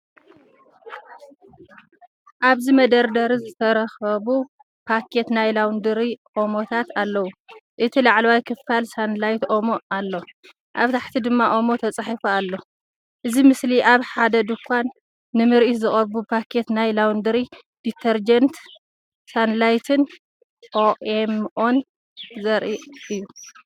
ኣብዚ ኣብ መደርደሪ ዝተደራረቡ ፓኬት ናይ ላውንድሪ ኦሞታት ኣለዉ። እቲ ላዕለዋይ ክፋል ፡ ሳንላይት ኦሞ ኣሎ፡ ኣብ ታሕቲ ድማ ኦሞ ተጻሒፉ ኣሎ። እዚ ምስሊ ኣብ ሓደ ድኳን ንምርኢት ዝቐረቡ ፓኬት ናይ ላውንድሪ ዲተርጀንት (ሳንላይትን ኦኤምኦን)ን ዘርኢ እዩ።